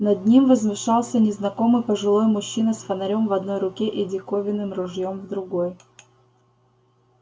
над ним возвышался незнакомый пожилой мужчина с фонарём в одной руке и диковинным ружьём в другой